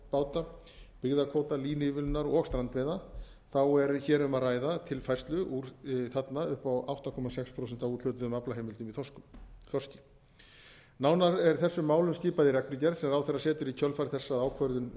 rækjubáta byggðakvóta línuívilnunar og strandveiða er hér um að ræða tilfærslu þarna upp á átta komma sex prósent af úthlutuðum aflaheimildum í þorski nánar er þessum málum skipað í reglugerð sem ráðherra setur í kjölfar þess að ákvörðun